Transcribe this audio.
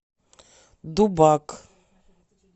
дубак